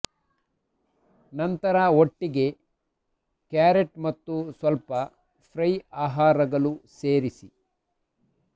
ನಂತರ ಒಟ್ಟಿಗೆ ಕ್ಯಾರೆಟ್ ಮತ್ತು ಸ್ವಲ್ಪ ಫ್ರೈ ಆಹಾರಗಳು ಸೇರಿಸಿ